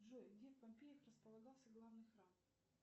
джой где в помпеях располагался главный храм